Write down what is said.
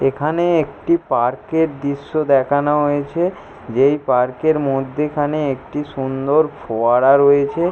এইখানে একটি পার্ক -এর দৃশ্য দেখানো হয়েছে। যেই পার্ক -এর মধ্যিখানে সুন্দর ফোয়ারা রয়েছে ।